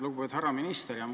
Lugupeetud härra minister!